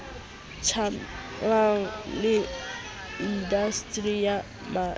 tjamelaneng le indasteri ya merafo